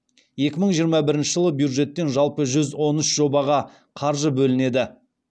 екі мың жиырма бірінші жылы бюджеттен жалпы жүз он үш жобаға қаржы бөлінеді